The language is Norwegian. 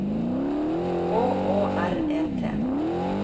K Å R E T